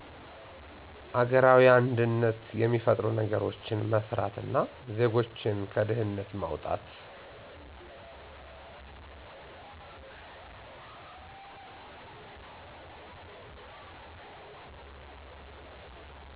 አገራዊ አንድነት የሚፈጥሩ ነገሮች መስራት እና ዜጎችን ከድህነት ማዉጣት